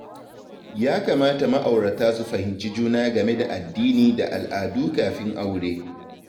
Ya kamata ma'aurata su fahimci juna game da addini da al'adu kafin aure.